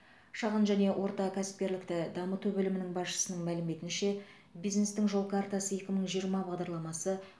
шағын және орта кәсіпкерлікті дамыту бөлімі басшысының мәліметінше бизнестің жол картасы екі мың жиырма бағдарламасы